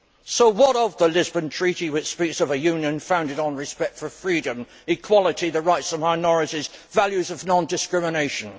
So what of the Lisbon Treaty which speaks of a Union founded on respect for freedom, equality, the rights of minorities, values of non discrimination?